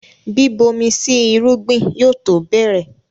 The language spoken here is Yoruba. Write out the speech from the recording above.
Bíbomi sí irúgbìn yóò tó bẹ̀rẹ̀